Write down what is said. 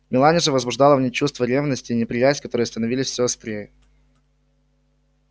мелани же возбуждала в ней чувство ревности и неприязнь которые становились всё острее